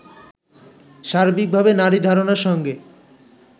সার্বিকভাবে নারী ধারণার সঙ্গে